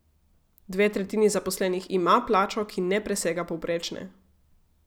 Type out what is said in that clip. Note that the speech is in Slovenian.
Dve tretjini zaposlenih ima plačo, ki ne presega povprečne.